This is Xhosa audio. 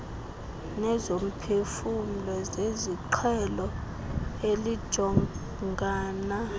nezomphefumlo zesiqhelo elijongana